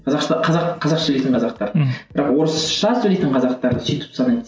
қазақша қазақ қазақша сөйлейтін қазақтар мхм бірақ орысша сөйлейтін қазақтар сөйтіп санайды